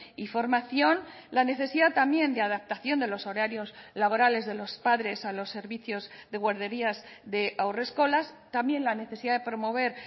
y formación la necesidad también de adaptación de los horarios laborales de los padres a los servicios de guarderías de haurreskolas también la necesidad de promover